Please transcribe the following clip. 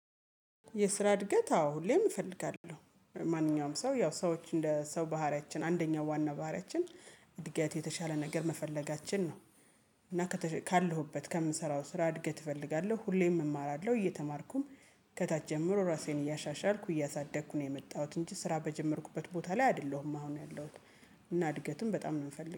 የስራ እድገት አዎ ሁሌም እፈልጋለሁ ማንኛውም ሰው ያው ሰዎች እንደ ሰው ባህሪያችን አንደኛው ዋና ባህሪያችን እድገት የተሻለ ነገር መፈለጋችን ነው። እና ካለሁበት ከምንሰራው ስራ እድገት እፈልጋለሁ ሁሌም እማራለሁ እየተማርኩም ከታች ጀምሮ ራሴን እያሻሻልኩ እያሳደግኩ ነው የመጣሁት እንጂ ስራ በጀመርኩበት ቦታ ላይ አይደለሁም አሁን ያለሁት። እና እድገትም በጣም ነው የምፈልገው